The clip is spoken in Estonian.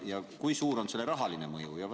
Ja kui suur on selle muudatuse rahaline mõju?